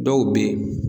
Dɔw be yen